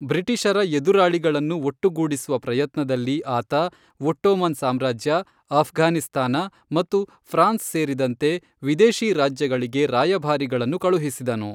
ಬ್ರಿಟಿಷರ ಎದುರಾಳಿಗಳನ್ನು ಒಟ್ಟುಗೂಡಿಸುವ ಪ್ರಯತ್ನದಲ್ಲಿ ಆತ ಒಟ್ಟೋಮನ್ ಸಾಮ್ರಾಜ್ಯ, ಆಫ್ಘಾನಿಸ್ತಾನ ಮತ್ತು ಫ್ರಾನ್ಸ್ ಸೇರಿದಂತೆ ವಿದೇಶಿ ರಾಜ್ಯಗಳಿಗೆ ರಾಯಭಾರಿಗಳನ್ನು ಕಳುಹಿಸಿದನು.